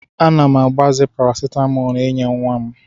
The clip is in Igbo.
Ana m agbaze parasitamọl inye nwa m.